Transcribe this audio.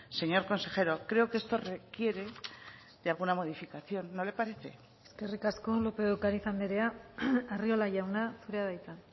señor consejero creo que esto requiere de alguna modificación no le parece eskerrik asko lópez de ocariz andrea arriola jauna zurea da hitza